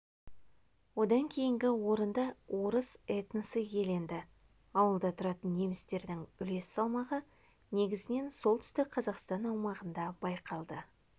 одан кейінгі орынды орыс этносы иеленді ауылда тұратын немістердің үлес салмағы негізінен солтүстік қазақстан аумағында байқалды